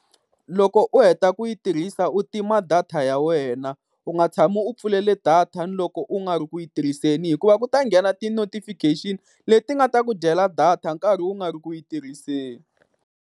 Loko u heta ku yi tirhisa u tima data ya wena, u nga tshami u pfulele data loko u nga ri ku yi tirhiseni, hikuva ku ta nghena ti-notifiction leti nga ta ku dyela data u karhi u nga ri ku yi tirhiseni.